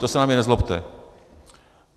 To se na mě nezlobte.